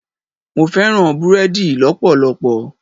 Mo fẹ́ràn búrẹ́dì lọpọlọpọ.